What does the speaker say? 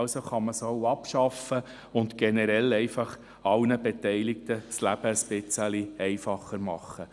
Also kann man sie auch abschaffen und generell einfach allen Beteiligten das Leben ein bisschen einfacher machen.